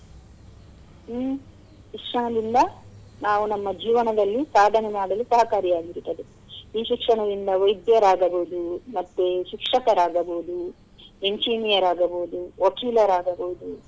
ಹ್ಮ್‌ ಶಿಕ್ಷಣದಿಂದ ನಾವ್ ನಮ್ಮ ಜೀವನದಲ್ಲಿ ಸಾಧನೆ ಮಾಡಲು ಸಹಕಾರಿಯಾಗಿರುತ್ತದೆ. ಈ ಶಿಕ್ಷಣದಿಂದ ವೈದ್ಯರಾಗಬಹುದು ಮತ್ತೇ ಶಿಕ್ಷಕರಾಗಬಹುದು, Engineer ಆಗಬಹುದು ವಕೀಲರಾಗಬಹುದು.